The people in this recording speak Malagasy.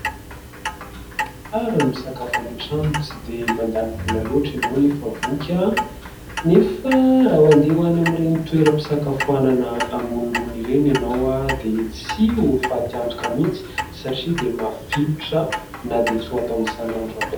Tsara ny misakafo any an-trano, tsy dia mandany vola loatra ianao anefa voky, anefa raha andeha ho any amin'ireny toeram-pisakafoanana ambonimbony ireny ianao dia tsy ho faty antoka mihitsy satria dia mafilotra na dia tsy ho atao isanandro aza.